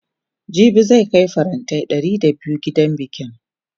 jibi zan Kai farantai Ɗari da biyu gidan bikin